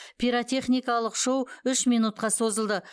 пиротехникалық шоу үш минутқа созылды